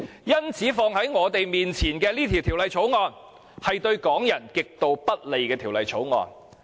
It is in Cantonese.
因此，放在我們面前的是對港人極度不利的《條例草案》。